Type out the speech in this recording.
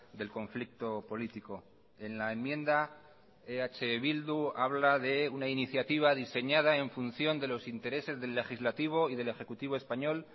del conflicto político en la enmienda eh bildu habla de una iniciativa diseñada en función de los intereses del legislativo y del ejecutivo español